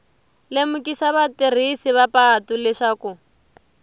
lemukisa vatirhisi va patu leswaku